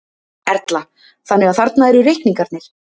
Erla: Þannig að þarna eru reikningarnir?